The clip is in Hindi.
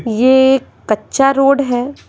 ये कच्चा रोड है।